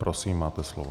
Prosím, máte slovo.